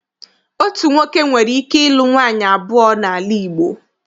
Otu nwoke nwere ike ịlu nwaanyị abụọ n'ala Igbo.